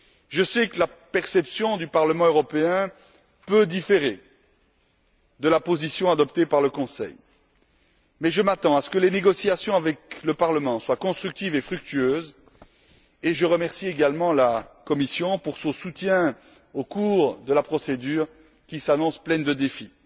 Je sais que la perception du Parlement européen peut différer de la position adoptée par le Conseil, mais je m'attends à ce que les négociations avec le Parlement soient constructives et fructueuses et je remercie également la Commission pour son soutien au cours de la procédure qui s'annonce pleine de défis.